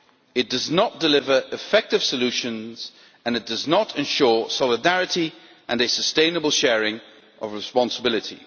It does not deliver effective solutions and it does not ensure solidarity and a sustainable sharing of responsibility.